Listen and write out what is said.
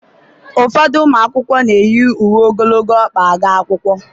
ụfọdụ ụmụ akwụkwọ na-eyi uwe ogologo ọkpa aga akwụkwọ